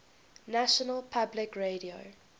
national public radio